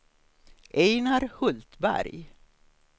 Ejnar Hultberg